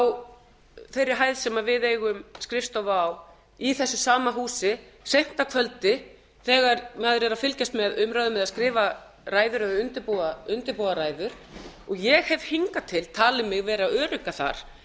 á þeirri hæð sem við eigum skrifstofu á í þessu sama húsi seint að kvöldi þegar maður er að fylgjast með umræðum eða skrifa ræður eða undirbúa ræður og ég hef hingað til talið mig vera örugga þar